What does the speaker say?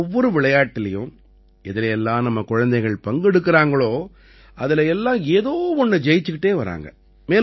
ஒவ்வொரு விளையாட்டிலயும் எதுல எல்லாம் நம்ம குழந்தைகள் பங்கெடுக்கறாங்களோ அதில எல்லாம் ஏதோ ஒண்ணை ஜெயிச்சுக்கிட்டு வர்றாங்க